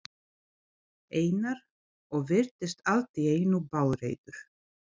Einar og virtist allt í einu bálreiður.